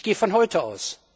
Ich gehe von heute aus.